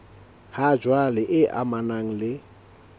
ha jwale e amanang le